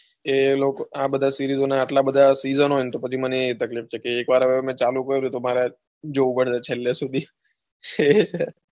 એ લોકો આ બધા ને series ના આટલા બધા seasono હોય ને તો પછી મેં ચાલુ કર્યું એટલે જોઉં પડશે છેલ્લે સુધી,